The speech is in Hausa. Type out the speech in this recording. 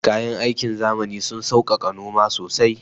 Kayan aikin zamani sun sauƙaƙa noma sosai